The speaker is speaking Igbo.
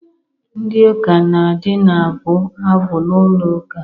Ndị ụka na-adị na-abụ abụ n'ụlo ụka.